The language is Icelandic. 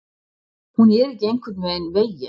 Hún er ekki einhvern veginn.